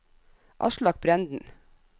Aslak Brenden